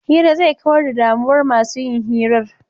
Hira zai kawar da damuwar masu yin hirar.